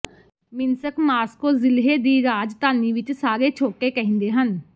Minsk Moscow ਜ਼ਿਲ੍ਹੇ ਦੀ ਰਾਜਧਾਨੀ ਵਿਚ ਸਾਰੇ ਛੋਟੇ ਕਹਿੰਦੇ ਹਨ